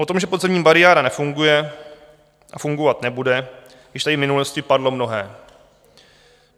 O tom, že podzemní bariéra nefunguje a fungovat nebude, již tady v minulosti padlo mnohé.